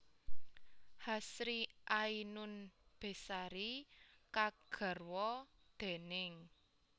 Hasri Ainun Besari kagarwa déning